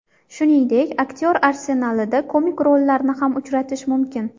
Shuningdek, aktyor arsenalida komik rollarni ham uchratish mumkin.